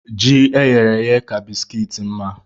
Ji eyere èyé ka bisikiiti mma